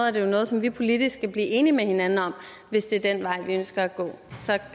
er det noget som vi politisk skal blive enige med hinanden om hvis det er den vej vi ønsker at gå så